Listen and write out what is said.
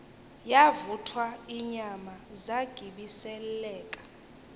yavuthwa inyama zagibiseleka